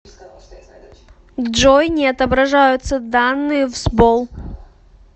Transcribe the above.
джой не отображаются данные в сбол